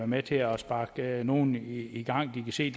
med til at sparke nogle i gang de kan se